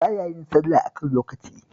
Ba ya yin sallah a kan lokaci